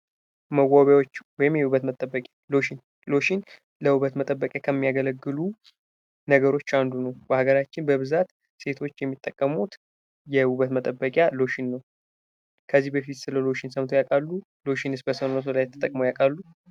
መዋቢያዎች ወይም የውበት መጠበቂያዎች ሎሽን ሎሽን መጠበቂነት ከሚያገለግሉ ነገሮች ውስጥ አንዱ ነው። በሀገራችን በብዛት ሴቶች የሚጠቀሙት የውበት ምንጠብቂያ ሎሽን ነው። ከዚህ በፊት ስለ ሎሽን ሰምተው ያውቃሉ? ሎሽንስ በሰውነቶ ላይ ተጠቅመው ያውቃሉ?